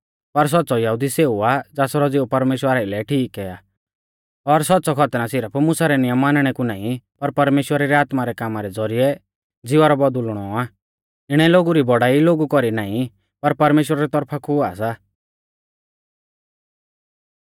पर सौच़्च़ौ यहुदी सेऊ आ ज़ासरौ ज़िऊ परमेश्‍वरा आइलै ठीक आ और सौच़्च़ौ खतना सिरफ मुसा रै नियम मानणै कु नाईं पर परमेश्‍वरा री आत्मा रै कामा रै ज़ौरिऐ ज़िवा रौ बौदुल़नौ आ इणै लोगु री बौड़ाई लोगु कौरी नाईं पर परमेश्‍वरा री तौरफा कु हुआ सा